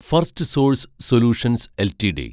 Firstsource solutions LTD